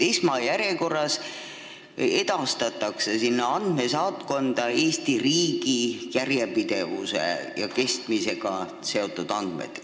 Esmajärjekorras edastatakse sinna andmesaatkonda Eesti riigi järjepidevuse ja kestmisega seotud andmed.